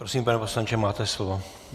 Prosím, pane poslanče, máte slovo.